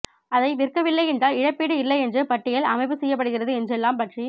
அதை விற்க வில்லை என்றால் இழப்பீடு இல்லை என்று பட்டியல் அமைப்பு செய்யப்படுகிறது என்று எல்லாம் பற்றி